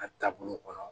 A taabolo kɔnɔ